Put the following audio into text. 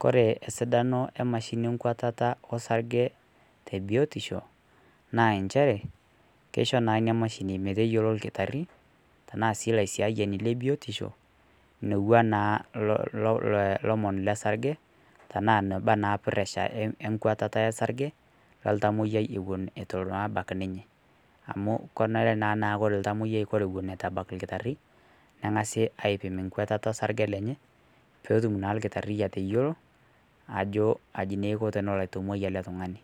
Kore sidano emashini enkuatata osarge te biotisho naa ncheere keishoo naa enia mashini mee teiyeloo iltaari tana sii laishaeni le biotisho loouwa naa lomoon le sarge tana nabaa na presha enkuatata esarge le iltamoyiai ewuen naa atobaki ninye , amu kenere naa ore iltamoyiai ewuen etuu ebaki lkitaari neeng'asi aipiim nkuatata e sarge lenye pee otuum naa lkitari ateiyeloo ajo ajii na eikoo aitomoi ele ltung'ani.